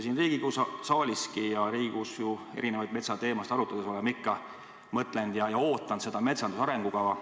Siin Riigikogu saaliski ja üldse Riigikogus erinevaid metsateemasid arutades oleme ikka oodanud seda metsanduse arengukava.